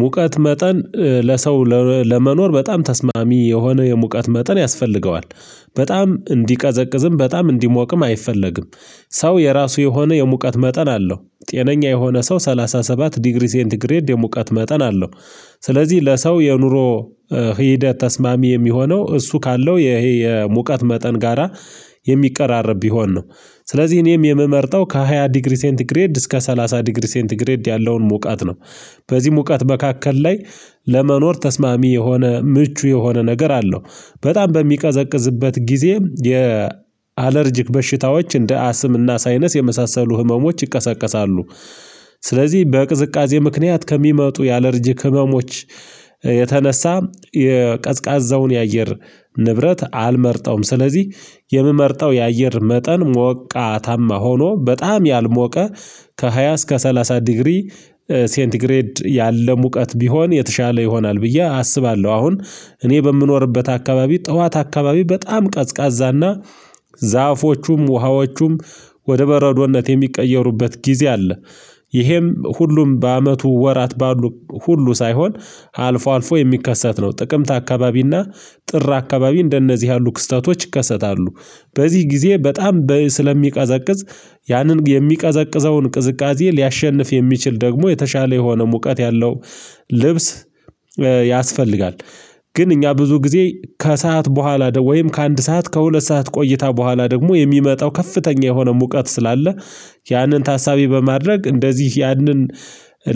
ሙቀት መጠን ለሰው ለመኖር በጣም ተስማሚ የሆነ የሙቀት መጠን ያስፈልገዋል። በጣም እንዲቀዘቅዝም በጣም እንዲሞቅም አይፈለግም። ሰው የራሱ የሆነ የሙቀት መጠን አለው ጤነኛ የሆነ ሰው ሰላሳ ሰባት ዲግሪ ሴንት ግሬድ የሙቀት መጠን አለው። ስለዚህ ለሰው የኑሮ ሂደት ተስማሚ የሚሆነው እሱ ካለው ይሄ የሙቀት መጠን ጋራ የሚቀራረብ ቢሆን ነው። ስለዚህ እኔም የምመርጠው ከሃያ ዲግሪ ሴንት ግሬድ እስከ ሰላሳ ዲግሪ ሴንት ግሬድ ያለውን ሙቀት ነው። በዚህ ሙቃት መካከል ላይ ለመኖር ተስማሚ የሆነ ምቹ የሆነ ነገር አለው በጣም በሚቀዘቅዝበት ጊዜ የ አለርጅክ በሽታዎች እንደ አስም እና ሳይነስ የመሳሰሉ ህመሞች ይቀሰቀሳሉ። ስለዚህ በቅዝቃዜ ምክንያት ከሚመጡ ያለርጂክ ህመሞች የተነሳ የቀዝቃዛውን የአየር ንብረት አልመርጠውም። ስለዚህ የምመርጠው የአየር መጠን ሞቃታማ ሆኖ በጣም ያልሞቀ ከሃያ እስከ ሰላሳ ዲግሪ ሴንት ግሬድ ያለ ሙቀት ቢሆን የተሻለ ይሆናል ብዬ አስባለሁ። አሁን እኔ በምኖርበት አካባቢ ጠዋት አካባቢ በጣም ቀዝቃዛና ዛፎቹም፣ ውሃዎቹም ወደ በረዶነት የሚቀየሩበት ጊዜ አለ። ይሄም ሁሉም በአመቱ ወራት ባሉ ሁሉ ሳይሆን አልፎ አልፎ የሚከሰት ነው ጥቅምት አካባቢና ጥር አካባቢ እንደነዚህ ያሉ ክስተቶች ይከሰታሉ። በዚህ ጊዜ በጣም በ ስለሚቀዘቅዝ ያንን የሚቀዘቅዘውን ቅዝቃዜ ሊያሸንፍ የሚችል ደግሞ የተሻለ የሆነ ሙቀት ያለው ልብስ ያስፈልጋል። ግን እኛ ብዙ ጊዜ ከሰአት በኋላ ደው ወይም ከአንድ ሰዓት ከሁለት ሰዓት ቆይታ በኋላ ደግሞ የሚመጣው ከፍተኛ የሆነ ሙቀት ስላለ ያንን ታሳቢ በማድረግ እንደዚህ ያንን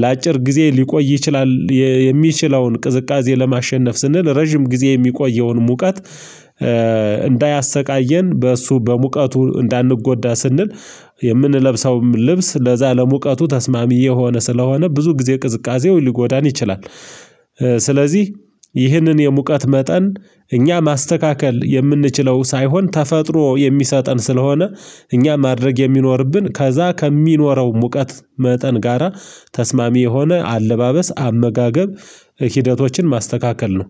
ለአጭር ጊዜ ሊቆይ ይችላል። የ የሚችለውን ቅዝቃዜ ለማሸነፍ ስንል ረጅም ጊዜ የሚቆየውን ሙቀት እንዳያሰቃየን በእሱ በሙቀቱ እንዳንጎዳ ስንል የምንለብሰውም ልብስ ለዛ ለሙቀቱ ተስማሚ የሆነ ስለሆነ ብዙ ጊዜ ቅዝቃዜው ሊጎዳን ይችላል። ስለዚህ ይህንን የሙቀት መጠን እኛ ማስተካከል የምንችለው ሳይሆን ተፈጥሮ የሚሰጠን ስለሆነ እኛ ማድረግ የሚኖርብን ከዛ ከሚኖረው ሙቀት መጠን ጋራ ተስማሚ የሆነ አለባበስ፣ አመጋገብ ሂደቶችን ማስተካከል ነው።